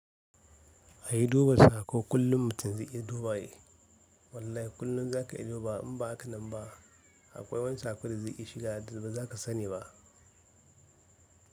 A yi duba saƙo kullum mutum zai iya duba shi. Wallahi kullum za ka iya duba in ba haka nan ba akwai wani saƙo da zai iya shiga da ba za ka sani ba.